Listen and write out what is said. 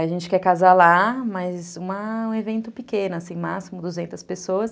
A gente quer casar lá, mas um evento pequeno, assim, máximo duzentas pessoas.